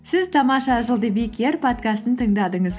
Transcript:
сіз тамаша жыл подкастын тыңдадыңыз